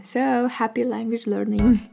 сөу хаппи лангуич лернинг